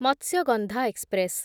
Matsyagandha express